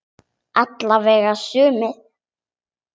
Alla vega sumir.